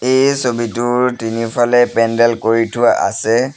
এই ছবিটোৰ তিনিওফালে পেন্দেল কৰি থোৱা আছে।